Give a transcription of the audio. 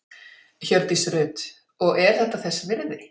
Hjördís Rut: Og er þetta þess virði?